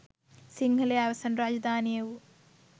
සිංහලයේ අවසන් රාජධානිය වූ